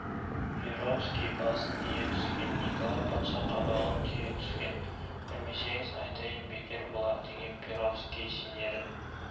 перовский басын ие түскен николай патша қабағын түйе түскен білмесеңіз айтайын бекер болар деген перовский сенерін